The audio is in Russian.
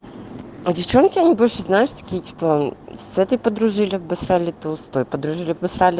а девчонки они больше знаешь такие типа с этой подружили обосрали то с той подружили обосрали